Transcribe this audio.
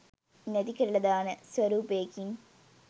නැතිකරලා දාන ස්වරූපයකින්.